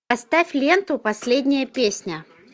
поставь ленту последняя песня